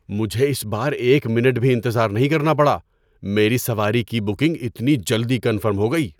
مجھے اس بار ایک منٹ بھی انتظار نہیں کرنا پڑا۔ میری سواری کی بکنگ اتنی جلدی کنفرم ہو گئی!